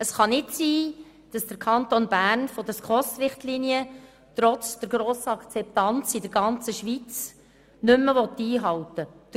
Es kann nicht sein, dass der Kanton Bern die SKOS-Richtlinien – trotz der grossen Akzeptanz in der ganzen Schweiz – nicht mehr einhalten will.